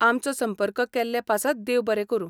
आमचो संपर्क केल्ले पासत देव बरें करूं.